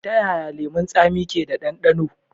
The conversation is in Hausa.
Ta yaya lemun tsami ke da ɗandano?